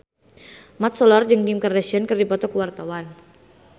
Mat Solar jeung Kim Kardashian keur dipoto ku wartawan